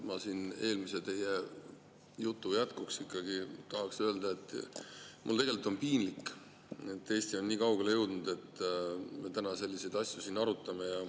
Ma teie eelmise jutu jätkuks ikkagi tahaks öelda seda: mul on piinlik, et Eesti on jõudnud nii kaugele, et me täna selliseid asju siin arutame.